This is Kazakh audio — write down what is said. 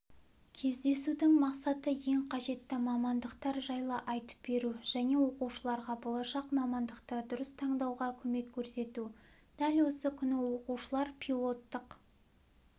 кездесудің мақсаты ең қажетті мамандықтар жайлы айтып беру және оқушыларға болашақ мамандықты дұрыс таңдауға көмек көрсету дәл осы күні оқушылар пилоттық